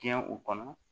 Tiyɛn u kɔnɔ